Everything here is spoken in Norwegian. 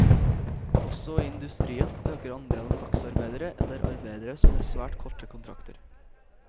Også i industrien øker andelen dagsarbeidere eller arbeidere som har svært korte kontrakter.